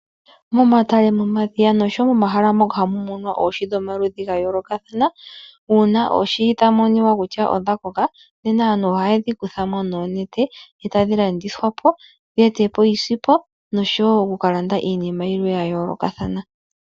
Momatale, momadhiya, noshowo momahala moka hamu munwa oohi dhomaludhi gayoolokathana, uuna oohi dhamonika kutya odha koka, nena aantu ohaye dhi kuthamo noonete, e tadhi landithwa po, dhi ete po iisimpo, noshowo okuka landa iinima yilwe yayoolokathana.